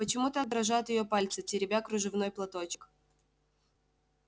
почему так дрожат её пальцы теребя кружевной платочек